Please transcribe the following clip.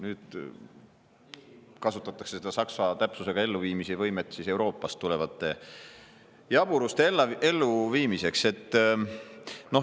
Nüüd kasutatakse seda saksa täpsusega elluviimise võimet Euroopast tulevate jaburuste elluviimiseks.